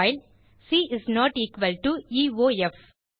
while C is not equal to இயோஃப்